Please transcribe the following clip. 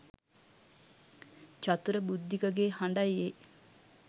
චතුර බුද්ධික ගේ හඬයි ඒ.